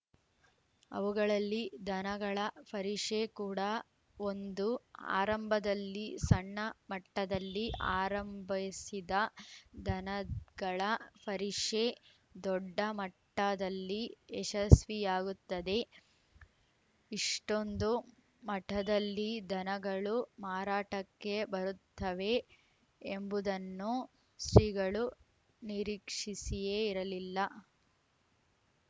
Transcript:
ಅವುಗಳಲ್ಲಿ ದನಗಳ ಪರಿಷೆ ಕೂಡ ಒಂದು ಆರಂಭದಲ್ಲಿ ಸಣ್ಣಮಟ್ಟದಲ್ಲಿ ಆರಂಭೈಸಿದ ದನಗಳ ಪರಿಷೆ ದೊಡ್ಡ ಮಟ್ಟದಲ್ಲಿ ಯಶಸ್ವಿಯಾಗುತ್ತದೆ ಇಷ್ಟೊಂದು ಮಟದಲ್ಲಿ ದನಗಳು ಮಾರಾಟಕ್ಕೆ ಬರುತ್ತವೆ ಎಂಬುದನ್ನು ಶ್ರೀಗಳು ನಿರೀಕ್ಷಿಸಿಯೇ ಇರಲಿಲ್ಲ